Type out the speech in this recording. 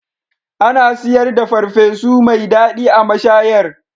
Ana siyar da farfesu mai daɗi a mashayar